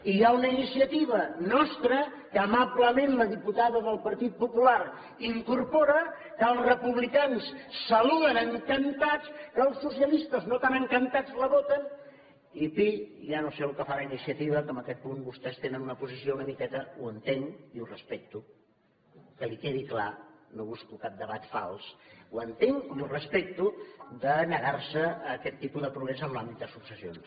i hi ha una iniciativa nostra que amablement la diputada del partit popular incorpora que els republicans saluden encantats que els socialistes no tan encantats la voten i pi ja no sé el que farà iniciativa que en aquest punt vostès tenen una posició una miqueta ho entenc i ho respecto que li quedi clar no busco cap debat fals ho entenc i ho respecto de negar se a aquest tipus de progrés en l’àmbit de successions